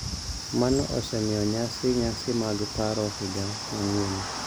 Mano osemiyo nyasi nyasi mag paro higa manyien